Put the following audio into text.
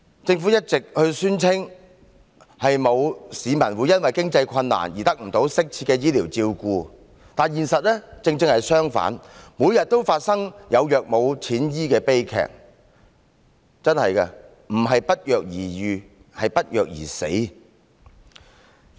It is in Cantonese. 政府一直宣稱，沒有市民會因為經濟困難而得不到適切的醫療照顧，但現實正好相反，每天都發生有藥無錢醫的悲劇，不是不藥而癒，而是不藥而死。